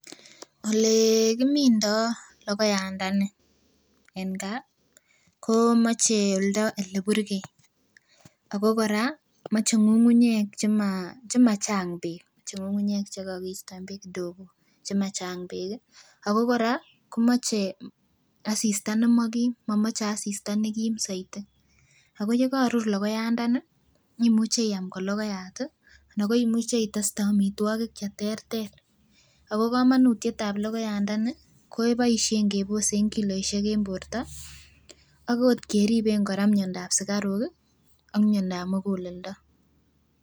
Ele kimindoo logoiyandani en gaa komoche oldo eleburgei ako kora muche ng'ung'unyek chemo chemochang beek moche ng'ung'unyek chekokistoen beek kidogo chemachang beek ih ako kora komoche asista nemokim, momoche asista nekim soiti ako yekorur logoiyandani imuche iam kologoyat ih anan ko imuche iteste amitwogik cheterter ako komonutietab logoiyandani keboisien kebosen kiloisiek en borto ak ot keriben miondab sukaruk ih ak miondab muguleldo